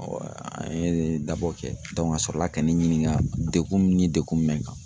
an ye dabɔ kɛ a sɔrɔla ka ne ɲininka degun min in degun bɛ n kan.